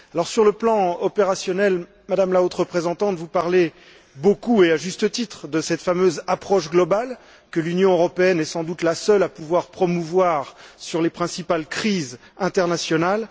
Sur le plan opérationnel, Madame la Haute représentante, vous parlez beaucoup et à juste titre de cette fameuse approche globale que l'Union européenne est sans doute la seule à pouvoir promouvoir sur les principales crises internationales.